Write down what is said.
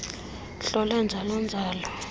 hlole njalo njalo